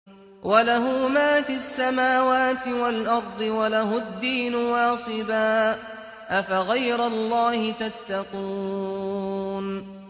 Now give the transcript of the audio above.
وَلَهُ مَا فِي السَّمَاوَاتِ وَالْأَرْضِ وَلَهُ الدِّينُ وَاصِبًا ۚ أَفَغَيْرَ اللَّهِ تَتَّقُونَ